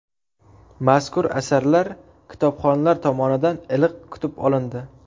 Mazkur asarlar kitobxonlar tomonidan iliq kutib olindi.